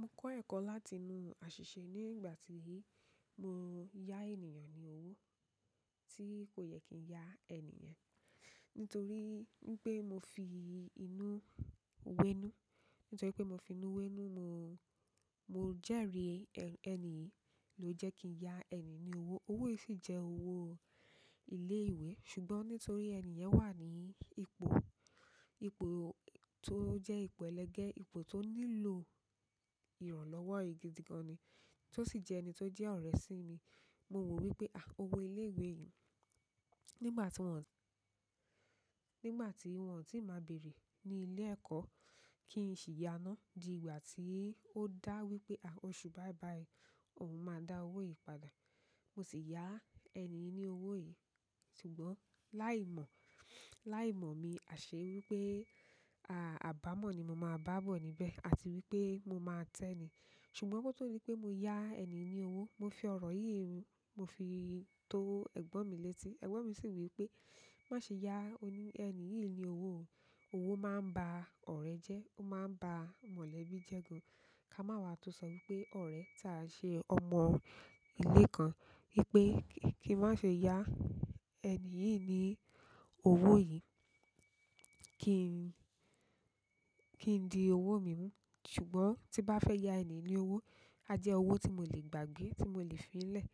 Mo kọ́ ẹ̀kọ́ láti inú àṣìṣe ní ìgbà tí i mo ya ènìyàn ní owó tí kò yẹ kí ń ya ẹnì yen. Nítorí pé mo fi inú wẹ́nú, nítorí pé mo fi inú wẹ́nú, mo jẹri ẹni yìí lo jẹ kii ya ẹni yìí lówó, owo yìí sì jẹ owo ile ìwé, ṣùgbọ́n nítorí ẹni yen wà ni ipò to jẹ ipò elege, ipò to nílò ìrànlọ́wọ́ gidi gan-an ni, tó sì jẹ́ ẹni tó jẹ́ ọ̀rẹ́ sí mi. Mo wo wípé "owó ilé-ìwé yìí?" Nígbà tí wọn tí máa bèèrè ní ilé-ẹ̀kọ́ kí ń ṣì yá náà di ìgbà tí ó dá wípé "oṣù báyìí báyìí, òun máa da owó yìí padà." Mo sì ya ẹni yìí ni owo yìí, ṣùgbọ́n láì mò mi, àṣẹ wípé abamọ ni maa ba bo níbẹ̀ àti wípé mo maa tẹ ni ṣùgbọ́n koto di pé mo ya ẹni yìí ní owó, mo fi ọ̀rọ̀ yìí rún, mo fi tó ẹ̀gbọ́n mi létí. Ẹ̀gbọ́n mi sì wí pé "má ṣe yá ẹni yìí ní owó o. Owó máa ń ba ọ̀rẹ́ jẹ́, ó máa ń ba mọ̀lẹ́bí jẹ́ gan. Ká má wà á tọ sọ wí pé ọ̀rẹ́ tá i ṣe ọmọ ilé kan, wipé kí n má ṣe yà ẹni yìí ní owó yìí, kí i di owó mi mú. Ṣùgbọ́n tí bá fẹ́ ya ẹni yìí ní owó, á jẹ́ owó tí mo lè gbà gbé, tí mo lè fi i lẹ̀.